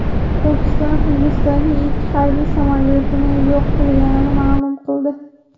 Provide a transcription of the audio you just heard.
Pokiston Hindistonning ikki harbiy samolyotini yo‘q qilganligini ma’lum qildi.